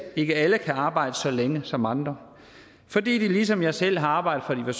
ikke alle kan arbejde så længe som andre fordi de ligesom jeg selv har arbejdet